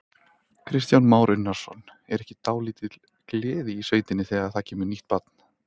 Kristján Már Unnarsson: Er ekki dálítil gleði í sveitinni þegar það kemur nýtt barn?